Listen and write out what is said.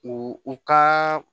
U u ka